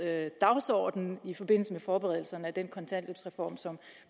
dagsorden i forbindelse med forberedelserne af den kontanthjælpsreform som